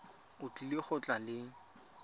o tlile go tla le